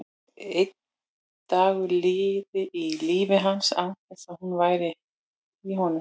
Enginn dagur liði í lífi hans án þess að hún væri í honum.